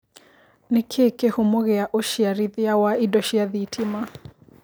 nĩ kĩĩ kĩhumo gĩa ũciarithia wa ĩndo cĩa thitima